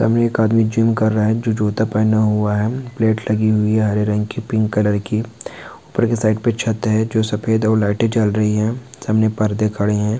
एक आदमी जिम कर रहा है जो जूता पहनना हुआ है। प्लेट लगी हुई हरे रंग की पिंक कलर की ऊपर की साइड पर छत है जो सफेद लाइट जल रही है। सामने पर्दे खड़े हैं।